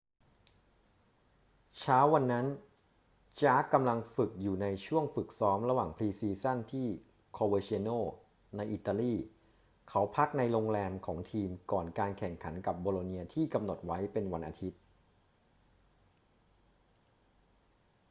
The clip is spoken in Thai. เช้าวันนั้น jarque กำลังฝึกอยู่ในช่วงฝึกซ้อมระหว่างพรีซีซั่นที่ coverciano ในอิตาลี เขาพักในโรงแรมของทีมก่อนการแข่งขันกับโบโลเนียที่กำหนดไว้เป็นวันอาทิตย์